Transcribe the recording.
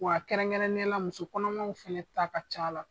Wa kɛrɛnkɛrɛnya la musokɔnɔmaw fana ta ka c'a la.